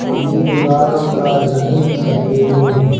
एक ही दीवारों का रंग सफेद है।